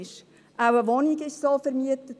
Auch eine Wohnung wurde so vermietet.